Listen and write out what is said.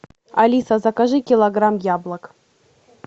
алиса закажи килограмм яблок